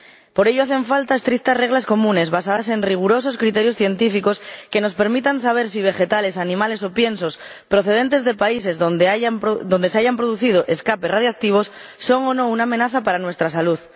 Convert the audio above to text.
Por ello, hacen falta estrictas reglas comunes, basadas en rigurosos criterios científicos, que nos permitan saber si los vegetales, animales o piensos procedentes de países donde se hayan producido escapes radiactivos son o no una amenaza para nuestra salud.